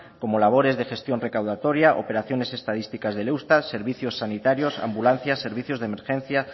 como labores de gestión recaudatoria operaciones estadísticas del eustat servicios sanitarios ambulancias servicios de emergencia